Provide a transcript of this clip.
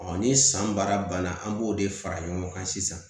ni san baara banna an b'o de fara ɲɔgɔn kan sisan